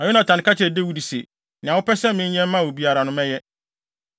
Na Yonatan ka kyerɛɛ Dawid se, “Nea wopɛ sɛ menyɛ mma wo biara no mɛyɛ.”